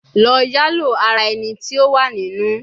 Lọ yalo ara ẹni ti o wa ninu